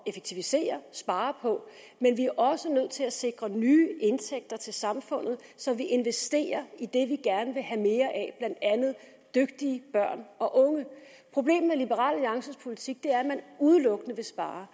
effektivisere og spare på men vi er også nødt til at sikre nye indtægter til samfundet som vi investerer i det vi gerne vil have mere af andet dygtige børn og unge problemet med liberal alliances politik er at man udelukkende vil spare